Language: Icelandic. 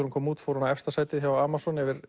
hún kom út fór hún í efsta sæti á Amazon